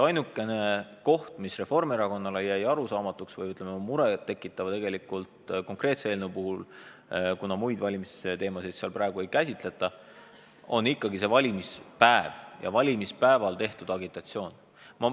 Ainukene koht, mis Reformierakonnale selle eelnõu puhul jäi arusaamatuks või, ütleme, muret tekitavaks, on tegelikult – kuna muid valimisteemasid selles praegu ei käsitleta – ikkagi valimispäev ja valimispäeval tehtud agitatsioon.